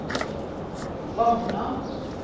Frogner